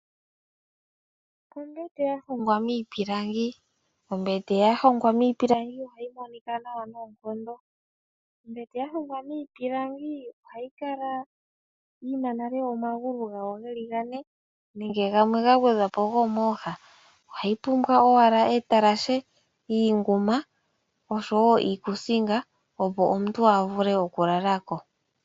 Ombete ya hongwa miipilangi. Ombete ya hongwa miipilangi ohayi monika nawa noonkondo. Ombete ya hongwa miipilangi ohayi kala nale yi na omagulu gawo ge li gane nenge gamwe ga gwedhwa po gomooha. Ohayi pumbwa owala etalashe, iinguma osho wo iikuusinga, opo omuntu a vule okulala ko.